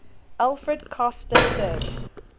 alfred kastler served